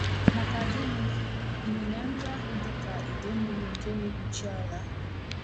Maka gịnị, ịnyịnya ndị ahụ dị ka ide mmiri nke na-ekpuchi ala!